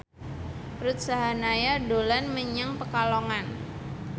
Ruth Sahanaya dolan menyang Pekalongan